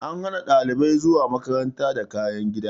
An hana dalibai zuwa makaranta da kayan gida.